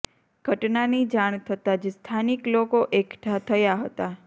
ઘટનાની જાણ થતાં જ સ્થાનિક લોકો એકઠાં થયા હતા